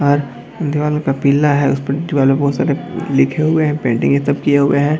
और दीवालों पर पीला है और उस पे दीवाल पे बहुत सारे लिखें हुए हैं पेंटिंग ये सब किए हुए हैं।